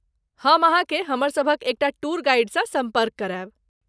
हम अहाँकेँ हमर सभक एक टा टूर गाइडसँ सम्पर्क करायब।